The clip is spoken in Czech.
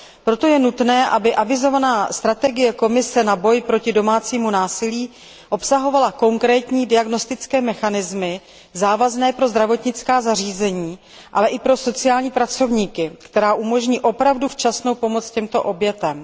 Proto je nutné, aby avizovaná strategie Komise boje proti domácímu násilí obsahovala konkrétní diagnostické mechanismy závazné pro zdravotnická zařízení, ale i pro sociální pracovníky, které umožní opravdu včasnou pomoc těmto obětem.